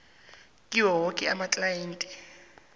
kiwo woke amaklayenti